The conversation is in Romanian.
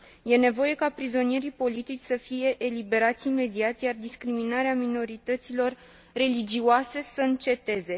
Este nevoie ca prizonierii politici să fie eliberați imediat, iar discriminarea minorităților religioase să înceteze.